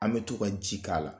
An bɛ to ka ji k'a la